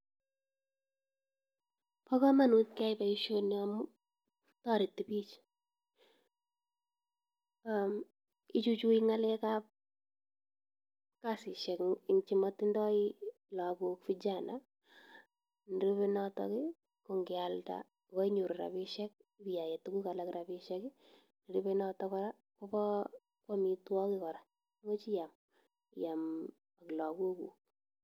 Bo kamanut keyai boisioni amu, toreti bich. Ichuchui ng'alekab kasisiek eng chimotindoi lagok, vijana. Nerube notok, ko ngealda goinyoru rabisiek ibiae tuguk alak rabisiek. Nerube notok kora koba amitwogik kora, much iyam, iyam ak lagoguk.